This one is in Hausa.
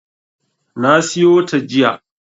Na siyo ta jiya.